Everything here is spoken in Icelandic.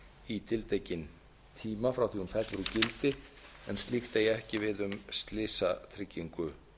í tiltekinn tíma frá því að hún fellur úr gildi en slíkt eigi ekki við um slysatryggingu